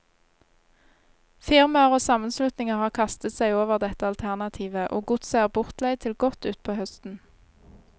Firmaer og sammenslutninger har kastet seg over dette alternativet, og godset er bortleid til godt utpå høsten.